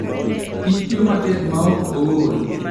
Kich tiyo matek maok ool.